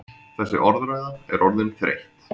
Þessi orðræða er orðin þreytt!